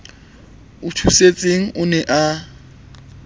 o thusitseng o ne a